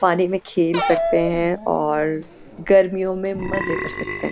पानी में खेल सकते हैं और गर्मियों में मजे कर सकते हैं।